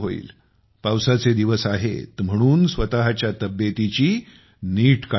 पावसाचे दिवस आहेत म्हणून स्वतःच्या तब्येतीची नीट काळजी घ्या